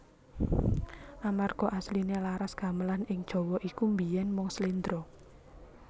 Amarga asliné laras Gamelan ing Jawa iku biyèn mung slendra